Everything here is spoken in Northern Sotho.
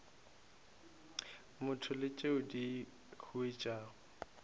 motho le tšeo di huetšago